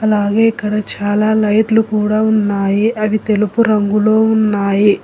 అలాగే ఇక్కడ చాలా లైట్లు కూడా ఉన్నాయి అది తెలుపు రంగులో ఉన్నాయి.